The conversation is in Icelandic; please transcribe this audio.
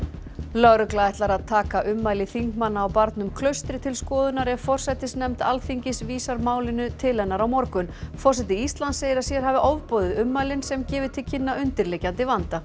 lögregla ætlar að taka ummæli þingmanna á barnum Klaustri til skoðunar ef forsætisnefnd Alþingis vísar málinu til hennar á morgun forseti Íslands segir að sér hafi ofboðið ummælin sem gefi til kynna undirliggjandi vanda